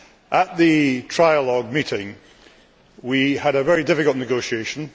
At the trialogue meeting we had a very difficult negotiation.